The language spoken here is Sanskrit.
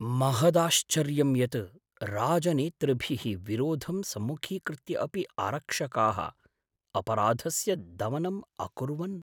महदाश्चर्यं यत् राजनेतृभिः विरोधं सम्मुखीकृत्य अपि आरक्षकाः अपराधस्य दमनम् अकुर्वन्!